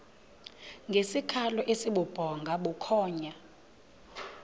ngesikhalo esibubhonga bukhonya